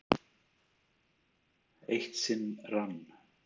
Eitt sinn rann